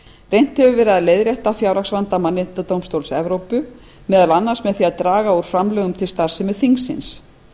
reynt hefur verið að leiðrétta fjárhagsvanda mannréttindadómstóls evrópu meðal annars með því að draga úr framlögum til starfsemi þingsins